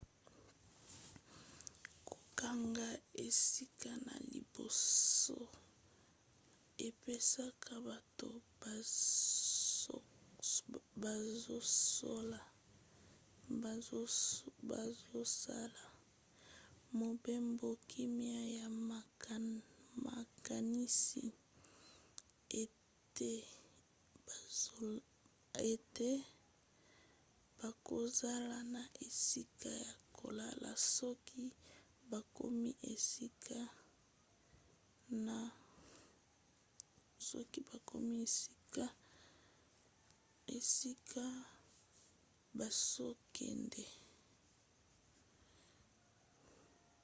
kokanga esika na liboso epesaka bato bazosala mobembo kimia ya makanisi ete bakozala na esika ya kolala soki bakomi esika bazokende